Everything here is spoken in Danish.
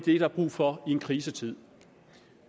er der brug for i en krisetid